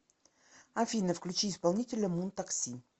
афина включи исполнителя мун такси